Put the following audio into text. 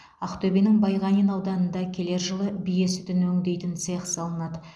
ақтөбенің байғанин ауданында келер жылы бие сүтін өңдейтін цех салынады